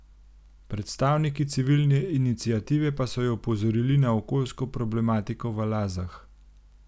Predstavniki civilne iniciative pa so jo opozorili na okoljsko problematiko v Lazah.